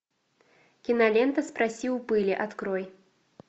кинолента спроси у пыли открой